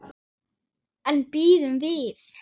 En bíðum við.